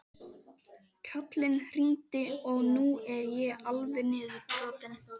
Kalli hringdi og nú er ég alveg niðurbrotinn.